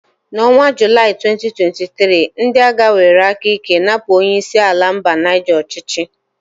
N'ọnwa Julai 2023, ndị agha were aka ike napụ onye isi ala mba Nige ọchịchị.